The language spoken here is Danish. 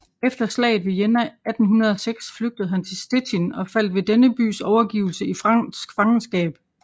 Efter slaget ved Jena 1806 flygtede han til Stettin og faldt ved denne bys overgivelse i fransk fangenskab